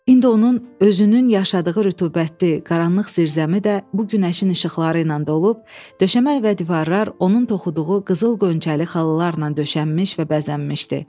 İndi onun özünün yaşadığı rütubətli, qaranlıq zirzəmi də bu günəşin işıqları ilə dolub, döşəmə və divarlar onun toxuduğu qızıl qonçəli xalalarla döşənmiş və bəzənmişdi.